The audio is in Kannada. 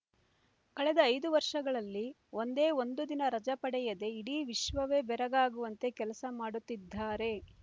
ಕಳೆದ ಐದು ವರ್ಷಗಳಲ್ಲಿ ಒಂದೇ ಒಂದು ದಿನ ರಜೆ ಪಡೆಯದೆ ಇಡೀ ವಿಶ್ವವವೇ ಬೆರಗಾಗುವಂತೆ ಕೆಲಸ ಮಾಡುತ್ತಿದ್ದಾರೆ